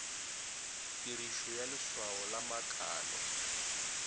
tirišo ya leswao la makalo